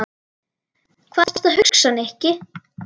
Hvað ertu að hugsa, Nikki?